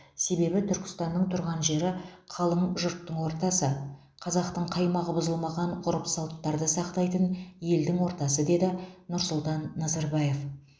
себебі түркістанның тұрған жері қалың жұрттың ортасы қазақтың қаймағы бұзылмаған ғұрып салттарды сақтайтын елдің ортасы деді нұрсұлтан назарбаев